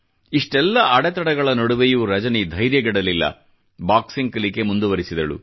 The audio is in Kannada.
ಇಷ್ಟೆಲ್ಲ ಅಡೆತಡೆಗಳ ನಡುವೆಯೂ ರಜನಿ ಧೈರ್ಯಗೆಡಲಿಲ್ಲ ಬಾಕ್ಸಿಂಗ್ ಕಲಿಕೆ ಮುಂದುವರಿಸಿದಳು